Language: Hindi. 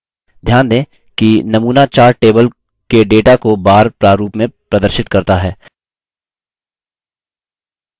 ध्यान दें कि नमूना chart table के data को bar प्रारूप में प्रदर्शित करता है